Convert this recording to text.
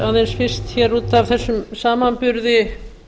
aðeins fyrst hér út af þessum samanburði